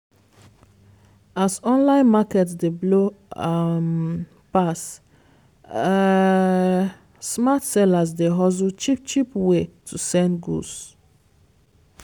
as online market dey blow um pass um smart sellers dey hustle cheap-cheap way to send goods.